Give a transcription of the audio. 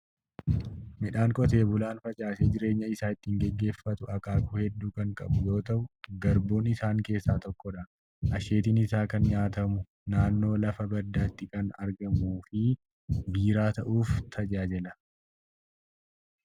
Midhaan qoteen bulaa facaasee jireenya isaa ittiin gaggeeffatu akaakuu hedduu kan qabu yoo ta'u, garbuun isaan keessaa tokkodha. Asheetiin isaa kan nyaatamu, naannoo lafa baddaatti kan marguu fi biiraa ta'uuf tajaajila.